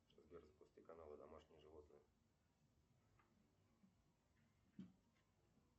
сбер запусти канал домашние животные